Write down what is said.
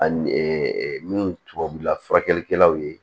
Ani min tubabula furakɛlikɛlaw ye